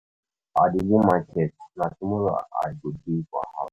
i dey go market, na tomorrow i go dey for house.